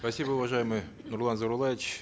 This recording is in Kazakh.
спасибо уважаемый нурлан зайроллаевич